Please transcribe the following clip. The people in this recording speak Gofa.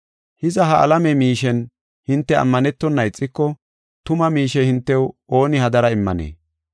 Hiza, ha alame miishen hinte ammanetona ixiko, tuma miishe hintew ooni hadara immanee?